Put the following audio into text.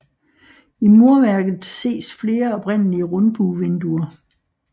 I murværket ses flere oprindelige rundbuevinduer